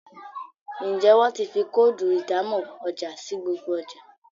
Njé wón tí fí Kóòdù ìdámọ̀ ọjà sí gbogbo ọjà